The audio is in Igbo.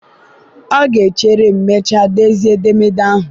ọ ga-echere ma mechaa dezie edemede ahụ.